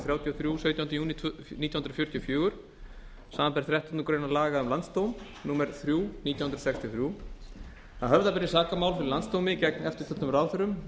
þrjátíu og þrjú sautjánda júní nítján hundruð fjörutíu og fjögur samanber þrettándu grein laga um landsdóm númer þrjú nítján hundruð sextíu og þrjú að höfða beri sakamál fyrir landsdómi gegn eftirtöldum ráðherrum